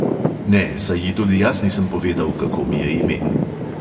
Ne, saj ji tudi jaz nisem povedal, kako mi je ime.